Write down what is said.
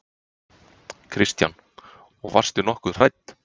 Kristján: Og varstu nokkuð hrædd?